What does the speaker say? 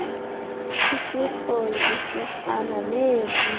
isirhoyi isisan neelwimi